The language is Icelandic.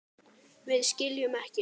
Við skiljum ekki.